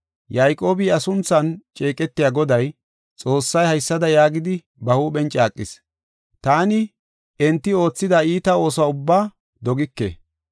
Yayqoobi iya sunthan ceeqetiya Goday, Xoossay, haysada yaagidi ba huuphen caaqis: “Taani enti oothida iita ooso ubbaa dogike.